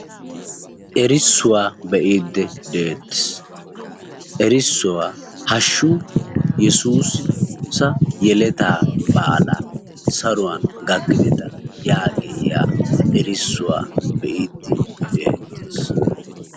Erissuwaa be'iidi de'ettees ,erissuwaa hashshu yessuussa yelettaa baala saruwn gakkideta yaagiya erissuwaa be'iidi de'ettees